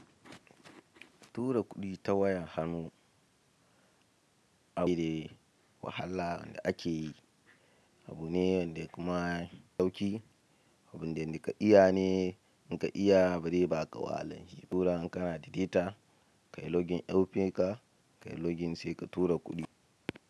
Tura kuɗi ta wayar hannu abu ne da wahala wanda ake yi, abu ne wanda kuma ya ɗauki, abun da inde ka iya ne in ka iya bare ba ka wahalan yi ba tura in kana da data, ka yi login app ɗin ka, ka yi login sai ka tura kuɗi.